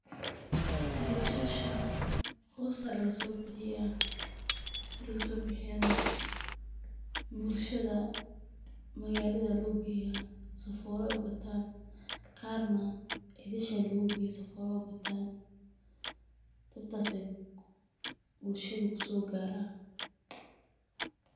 Basasha hoos aya lagasobixiya marki lagasobixiyana bulshada magalada aya logeya sifa ey ugatan qarna guriyaha logeya sifa ey ugatan sida ayey kusogaran bulshada.